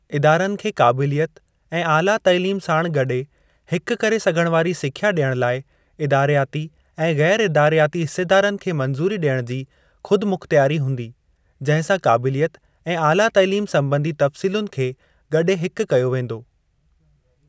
इदारनि खे काबिलियत ऐं आला तालीम साणु गॾे हिकु करे सघण वारी सिख्या ॾियण लाइ इदारियाती ऐं गैर-इदारियाती हिसेदारनि खे मंजूरी ॾियण जी खुदिमुख़्तयारी हूंदी, जंहिं सां काबिलियत ऐं आला तालीम संॿंधी तफ्सीलुनि खे गॾे हिकु कयो वेंदो।